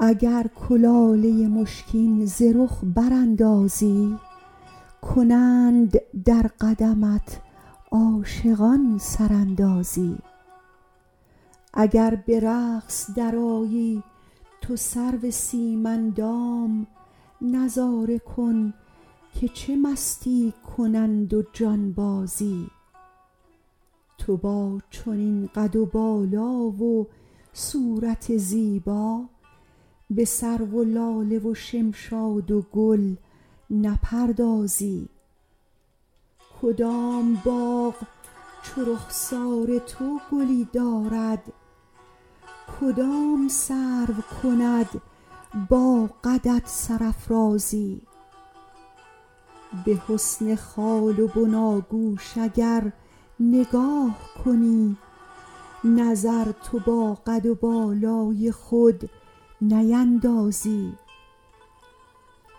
اگر کلاله مشکین ز رخ براندازی کنند در قدمت عاشقان سراندازی اگر به رقص درآیی تو سرو سیم اندام نظاره کن که چه مستی کنند و جانبازی تو با چنین قد و بالا و صورت زیبا به سرو و لاله و شمشاد و گل نپردازی کدام باغ چو رخسار تو گلی دارد کدام سرو کند با قدت سرافرازی به حسن خال و بناگوش اگر نگاه کنی نظر تو با قد و بالای خود نیندازی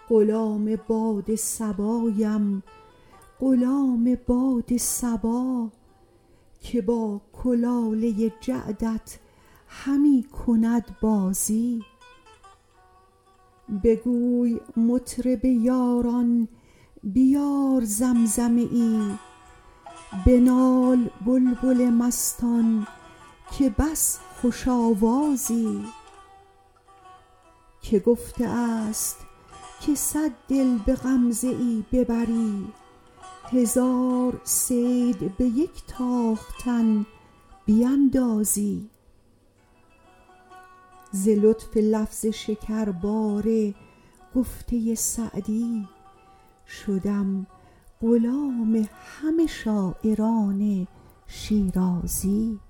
غلام باد صبایم غلام باد صبا که با کلاله جعدت همی کند بازی بگوی مطرب یاران بیار زمزمه ای بنال بلبل مستان که بس خوش آوازی که گفته است که صد دل به غمزه ای ببری هزار صید به یک تاختن بیندازی ز لطف لفظ شکربار گفته سعدی شدم غلام همه شاعران شیرازی